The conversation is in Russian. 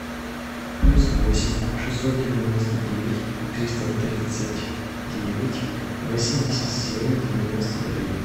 плюс восемь шестьсот девяносто девять триста тридцать девять восемьдесят семь девяносто три